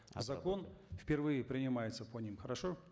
закон впервые принимается по ним хорошо